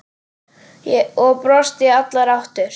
Og brosti í allar áttir.